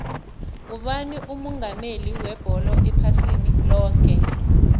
ngubani umongameli webholo ephasini loke